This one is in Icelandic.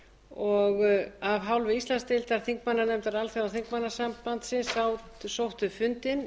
og af hálfu íslandsdeildar þingmannanefndar alþjóðaþingmannasambandinu sóttu fundinn